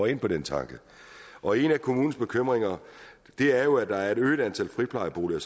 ind på den tanke og en af kommunernes bekymringer er jo at et øget antal friplejeboliger